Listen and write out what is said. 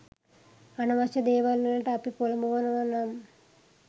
අනවශ්‍ය දේවල්වලට අපි පොළඹවනව නම්